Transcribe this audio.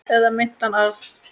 Eða meintan arf.